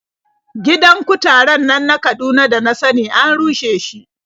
Gidan kutaren nan na Kaduna da na sani an rushe shi.